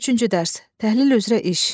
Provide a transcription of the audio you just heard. Üçüncü dərs: Təhlil üzrə iş.